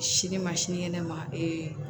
Sini ma sinikɛnɛ ma ee